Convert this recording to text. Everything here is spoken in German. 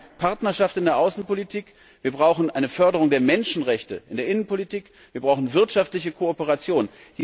Wir brauchen Partnerschaft in der Außenpolitik, wir brauchen eine Förderung der Menschenrechte in der Innenpolitik, wir brauchen wirtschaftliche Kooperation.